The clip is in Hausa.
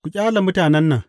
Ku ƙyale mutanen nan!